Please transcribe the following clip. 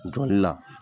Jɔli la